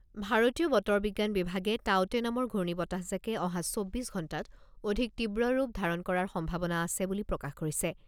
ভাৰতীয় বতৰ বিজ্ঞান বিভাগে টাউতে নামৰ ঘূৰ্ণীবতাহজাকে অহা চৌব্বিছ ঘণ্টাত অধিক তীব্ৰৰূপ ধাৰণ কৰাৰ সম্ভাৱনা আছে বুলি প্ৰকাশ কৰিছে।